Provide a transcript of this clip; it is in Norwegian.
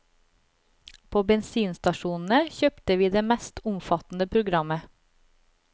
På bensinstasjonene kjøpte vi det mest omfattende programmet.